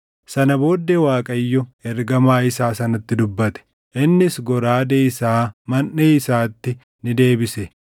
Sana booddee Waaqayyo ergamaa isaa sanatti dubbate; innis goraadee isaa manʼee isaatti ni deebise.